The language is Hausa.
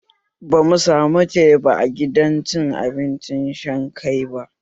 Ban samu teba a gidan cin abinci Shanghai ba